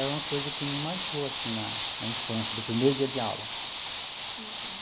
É uma coisa que me marcou, assim, na na infância, do primeiro dia de aula. Uhum.